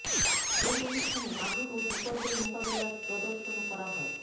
এই অনুষ্ঠানে আগুন ও বিপর্যয় মোকাবিলার প্রদর্শনও করা হয়